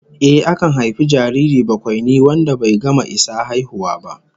Ehh, akan haifi jariri bakwaini wanda bai gama isa haihuwa ba